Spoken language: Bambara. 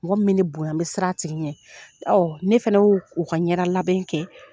Mɔgɔ min bɛ bonya n bɛ siran a tigi ɲɛ ne fana ye o ka ɲɛda labɛn kɛ.